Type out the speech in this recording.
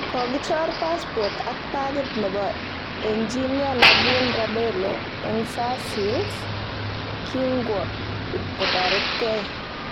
Kogichor passpot ak pagit nebo enjinia Naveen Rabelli eng sarcelles kingwo ipkotaretkei